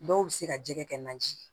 Dɔw bɛ se ka jɛgɛ kɛ naji ye